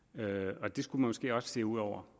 så det skulle man måske også se ud over